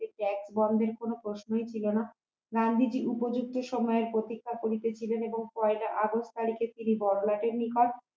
বন্ধের কোন প্রশ্নই ছিল না গান্ধীজী উপযুক্ত সময়ের প্রতীক্ষা করিতেছিলেন এবং পয়লা আগস্ট তারিখে তিনি বড়লাটের নিকট